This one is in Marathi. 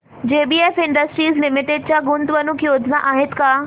जेबीएफ इंडस्ट्रीज लिमिटेड च्या गुंतवणूक योजना आहेत का